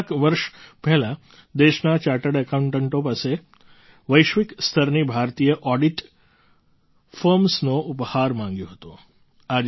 મેં કેટલાંક વર્ષ પહેલાં દેશના ચાર્ટર્ડ એકાઉન્ટન્ટો પાસે વૈશ્વિક સ્તરની ભારતીય ઑડિટ ફર્મ્સનો ઉપહાર માગ્યો હતો